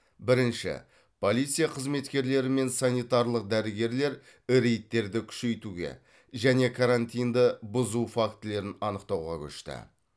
бірінші полиция қызметкерлері мен санитарлық дәрігерлер реидтерді күшеитуге және карантинді бұзу фактілерін анықтауға көшті